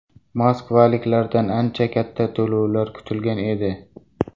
Moskvaliklardan ancha katta to‘lovlar kutilgan edi.